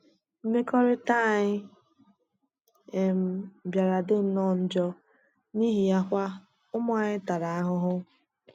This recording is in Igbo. Mmekọrịta anyị um bịara dị nnọọ njọ, n'ihi ya kwa, ụmụ anyị tara ahụhụ.